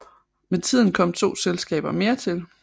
Med tiden kom to selskaber mere til